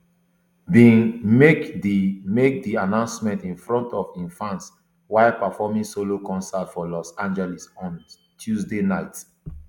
bain make di make di announcement in front of im fans while performing solo concert for los angeles on tuesday night